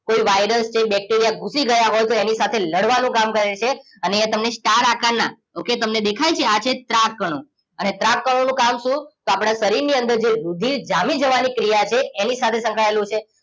કોઈ વાયરસ કે બેક્ટેરિયા ઘૂસી ગયા હોય તો એની સાથે લડવાનું કામ કરે છે અને અહીંયા તમે star આકાર ના okay તમને દેખાય છે આ છે ત્રાક કણો અને ત્રાક કણોનું કામ શું તો આપણા શરીરની અંદર જે રુધિર જામી જવાની ક્રિયા છે એની સાથે સંકળાયેલું છે